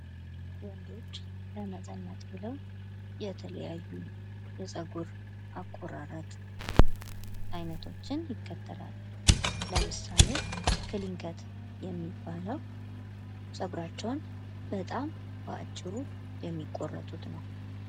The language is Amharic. ወንዶች ለመተኛት ብለው የተለያዩ የፀጉር አቆራረጥ ዓይነቶችን ይከተላሉ። ለምሳሌ ከሊንከን የሚባለው ፀጉራቸውን በጣም አጭሩ የሚቆርጡት ነው።